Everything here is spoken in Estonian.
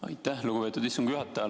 Aitäh, lugupeetud istungi juhataja!